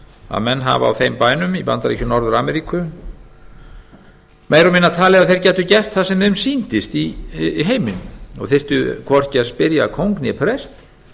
að menn hafi á þeim bænum í bandaríkjum norður ameríku meira og minna talið að þeir gætu gert það sem þeim sýndist í heiminum og þyrftu hvorki að spyrja kóng né prest